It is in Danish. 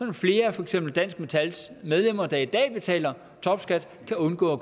at flere for eksempel dansk metals medlemmer der i dag betaler topskat kan undgå